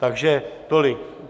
Takže tolik.